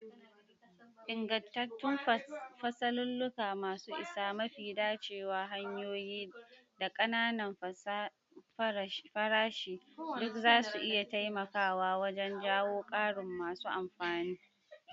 Ingantattun fasalulluka masu isa, mafi dacewa hanyoyin, da ƙananan farashi duk zasu iya taimakawa wajen jawo ƙarin masu amfani.